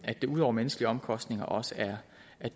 at det ud over menneskelige omkostninger også er